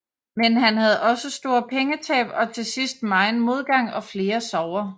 Men han havde også store pengetab og til sidst megen modgang og flere sorger